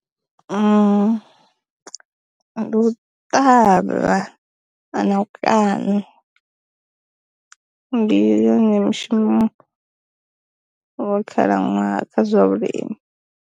Ndi u ṱavha na u kana. Ndi yone mushumo wa khalaṅwaha kha zwa vhulimi.